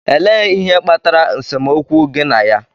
Elee ihe kpatara nsemokwu gi na ya?